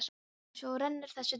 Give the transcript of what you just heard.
Og svo rennur þessi dagur upp.